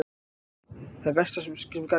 Það versta sem gat gerst gerðist.